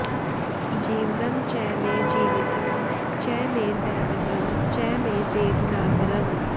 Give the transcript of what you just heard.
जीवनं च मे जीवितं च मे दैवतं च मे देव नापरम्